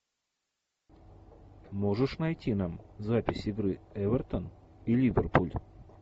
можешь найти нам запись игры эвертон и ливерпуль